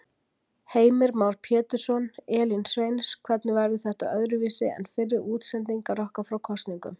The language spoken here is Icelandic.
Heimir Már Pétursson: Elín Sveins, hvernig verður þetta öðruvísi en fyrri útsendingar okkar frá kosningum?